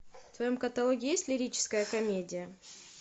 в твоем каталоге есть лирическая комедия